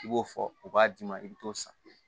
I b'o fɔ u b'a d'i ma i bɛ t'o san